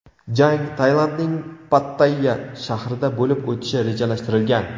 Jang Tailandning Pattayya shahrida bo‘lib o‘tishi rejalashtirilgan.